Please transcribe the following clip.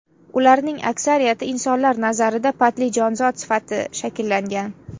Ularning aksariyati insonlar nazarida patli jonzot sifati shakllangan.